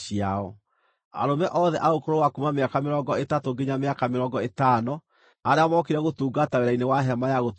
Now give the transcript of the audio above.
Arũme othe a ũkũrũ wa kuuma mĩaka mĩrongo ĩtatũ nginya mĩaka mĩrongo ĩtano arĩa mookire gũtungata wĩra-inĩ wa Hema-ya-Gũtũnganwo,